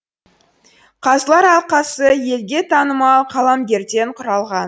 қазылар алқасы елге танымал қаламгерлерден құралған